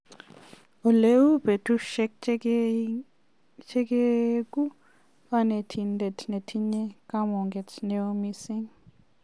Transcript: Oleuu betusiek chegeigu konetindet netinye kamuget neo mising'.